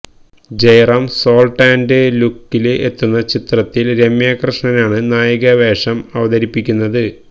Jayaram salt and ലുക്കില് എത്തുന്ന ചിത്രത്തില് രമ്യാ കൃഷ്ണനാണ് നായിക വേഷം അവതരിപ്പിക്കുന്നത്